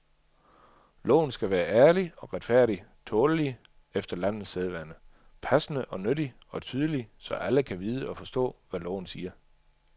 Loven skal være ærlig og retfærdig, tålelig, efter landets sædvane, passende og nyttig, og tydelig, så alle kan vide og forstå, hvad loven siger.